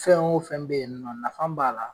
Fɛn o fɛn bɛ yen nɔ nafa b'a la.